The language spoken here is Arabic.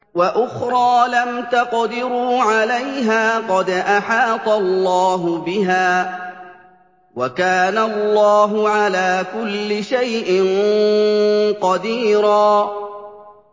وَأُخْرَىٰ لَمْ تَقْدِرُوا عَلَيْهَا قَدْ أَحَاطَ اللَّهُ بِهَا ۚ وَكَانَ اللَّهُ عَلَىٰ كُلِّ شَيْءٍ قَدِيرًا